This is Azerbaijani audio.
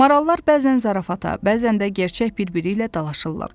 Marallar bəzən zarafata, bəzən də gerçək bir-biri ilə dalaşırlar.